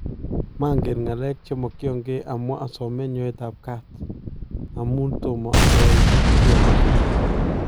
Mangen ng'aleek chemakyankee amwaa asomeen nyoetab kaat , amuun tomo ayaai kiii agetugul